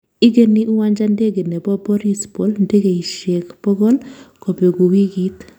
Igeni uwanja ndege nebo Borispol ndegeiashek pogol kobegu wigit